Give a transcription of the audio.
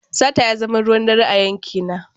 Sata ya zama ruwan dare a yankina.